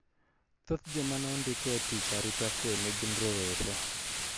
Thoth joma ne ondik e tich arita kwue ne gin rowere